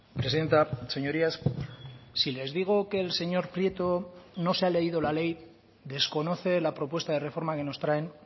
presidenta señorías si les digo que el señor prieto no se ha leído la ley desconoce la propuesta de reforma que nos traen